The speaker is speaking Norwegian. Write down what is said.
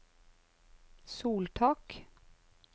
soltak